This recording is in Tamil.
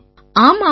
ஆமா ஆமா